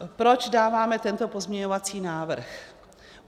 Proč dáváme tento pozměňovací návrh?